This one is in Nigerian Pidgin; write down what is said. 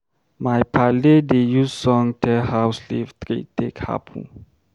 My paale dey use song tell how slave trade take happen.